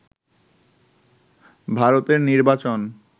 ভারতের নির্বাচন